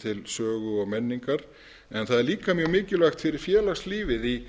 til sögu og menningar en það er líka mjög mikilvægt fyrir